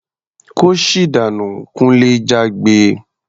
"Kóṣì dànú!" Kunle jágbe.